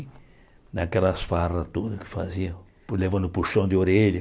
E naquelas farras todas que fazia, fui levando puxão de orelha.